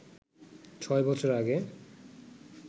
ছয় বছর আগে